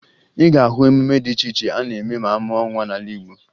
Ị ga-ahụ emume dị iche iche a na-eme ma amụọ nwa n'ala Igbo